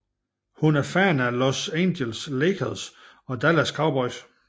Hun er fan af Los Angeles Lakers og Dallas Cowboys